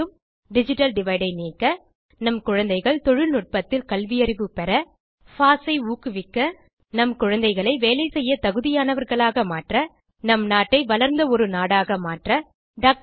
digital divide ஐ நீக்க நம் குழந்தைகள் தொழில்நுட்பத்தில் கல்வியறிவு பெற பாஸ் ஐ ஊக்குவிக்க நம் குழந்தைகளை வேலைசெய்ய தகுதியானவர்களாக மாற்ற நம் நாட்டை வளர்ந்த ஒரு நாடாக மாற்ற திர்